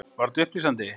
Var þetta upplýsandi?